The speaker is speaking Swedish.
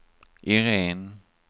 Irene